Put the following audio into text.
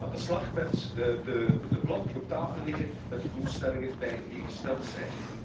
Aan de slag met de plannen die op tafel liggen, met de doelstellingen die gesteld zijn.